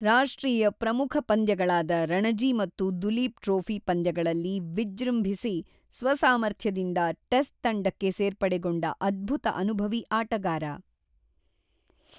ರಾಷ್ಟ್ರೀಯ ಪ್ರಮುಖ ಪಂದ್ಯಗಳಾದ ರಣಜಿ ಮತ್ತು ದುಲೀಪ್ ಟ್ರೋಫಿ ಪಂದ್ಯಗಳಲ್ಲಿ ವಿಜೃಂಭಿಸಿ ಸ್ವಸಾಮರ್ಥ್ಯದಿಂದ ಟೆಸ್ಟ್ ತಂಡಕ್ಕೆ ಸೇರ್ಪಡೆಗೊಂಡ ಅದ್ಭುತ ಅನುಭವಿ ಆಟಗಾರ.